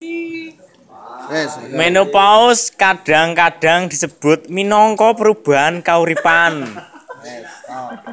Menopause kadang kadang disebut minangka perubahan kauripan